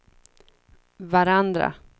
varandra